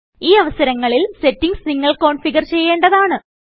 ഈ അവസരങ്ങളിൽ സെറ്റിംഗ്സ് നിങ്ങൾ കോന്ഫിഗർ ചെയ്യേണ്ടതാണ്